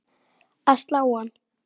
að slá hann.